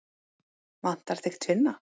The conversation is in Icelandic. Vantar þig tvinna?